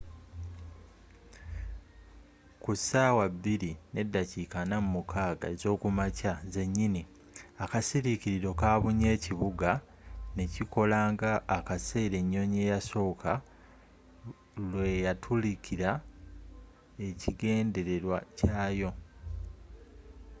ku saawa 8:46 am zenyini akasirikiriro kabunye ekibuga ne kikola nga akaseera ennyonyi eyasooka lwe yatuukiriza ekigendererwa kyayo